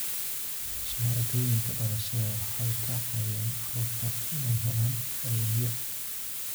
Shahaadooyinka dhalashada waxay ka caawiyaan carruurta inay helaan adeegyo.